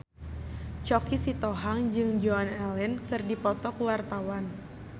Choky Sitohang jeung Joan Allen keur dipoto ku wartawan